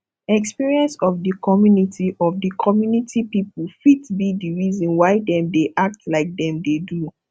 experience of di community of di community pipo fit be the reason why dem dey act like dem dey do